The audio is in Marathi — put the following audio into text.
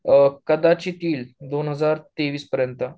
कदाचित येईल दोन हजार तेवीस पर्यंत